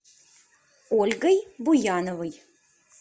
ольгой буяновой